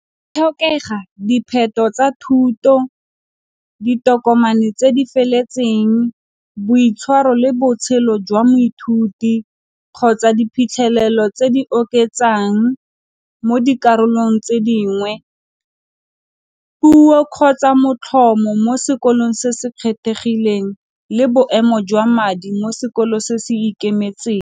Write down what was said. Dipheto tsa thuto, ditokomane tse di feletseng, boitshwaro le botshelo jwa moithuti kgotsa diphitlhelelo tse di oketsang, mo dikarolong tse dingwe puo kgotsa motlhomo mo sekolong se se kgethegileng le boemo jwa madi mo sekolo se se ikemetseng.